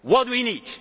What do we need?